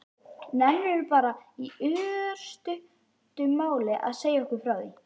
Nennirðu bara í örstuttu máli að segja okkur frá því?